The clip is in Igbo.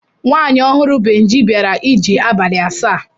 Nwaanyị ọhụrụ Benji bịara ije abalị asaa.